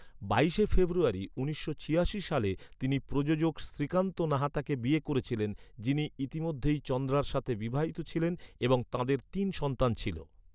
বাইশে ফেব্রুয়ারি উনিশশো ছিয়াশি সালে, তিনি প্রযোজক শ্রীকান্ত নাহাতাকে বিয়ে করেছিলেন, যিনি ইতিমধ্যেই চন্দ্রার সাথে বিবাহিত ছিলেন এবং তাঁদের তিন সন্তান ছিল।